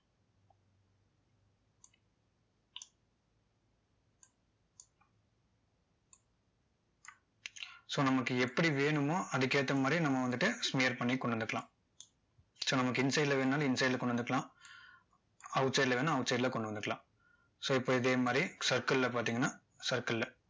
so நமக்கு எப்படி வேணுமோ அதுக்கேத்த மாதிரி நம்ம வந்துட்டு smear பண்ணி கொண்டு வந்துக்கலாம் so நமக்கு inside ல வேணும்னாலும் inside ல கொண்டு வந்துக்கலாம் outside ல வேணும்னா outside ல கொண்டு வந்துக்கலாம் so இப்போ இதே மாதிரி circle ல பார்த்தீங்கன்னா circle ல